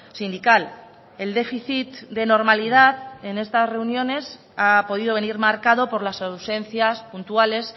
sindical el déficit de normalidad en estas reuniones ha podido venir marcado por las ausencias puntuales